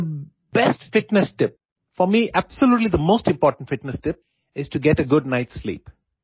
The best fitness tip for me absolutely the most important fitness tip is to get a good night sleep